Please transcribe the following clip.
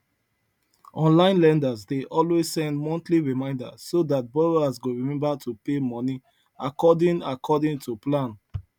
online lenders dey always send monthly reminder so dat borrowers go remember to pay money according according to plan